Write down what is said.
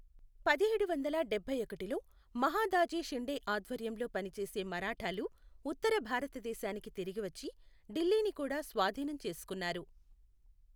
పదిహేడు వందల డబ్బై ఒకటిలో మహదాజీ షిండే ఆధ్వర్యంలో పనిచేసే మరాఠాలు ఉత్తర భారతదేశానికి తిరిగి వచ్చి ఢిల్లీని కూడా స్వాధీనం చేసుకున్నారు.